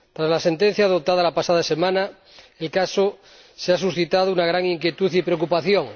La sentencia dictada la pasada semana en el caso ha suscitado gran inquietud y preocupación,